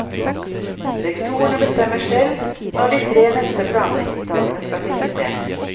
Rektorene bestemmer selv når de tre neste planleggingsdagene skal finne sted.